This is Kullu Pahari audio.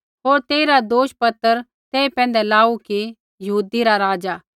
होर तेइरा दोषपत्र तेई पैंधै लाऊ कि यहूदी रा राज़ा